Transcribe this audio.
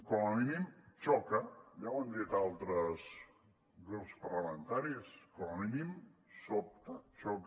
com a mínim xoca ja ho han dit altres grups parlamentaris com a mínim sobta xoca